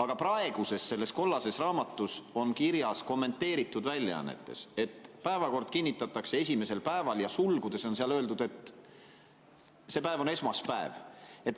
selles praeguses kollases raamatus, kommenteeritud väljaandes, on kirjas, et päevakord kinnitatakse esimesel päeval, ja sulgudes on öeldud, et see päev on esmaspäev.